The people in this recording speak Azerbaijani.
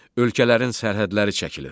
Ölkələrin sərhədləri çəkilir.